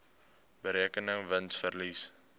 berekende wins verlies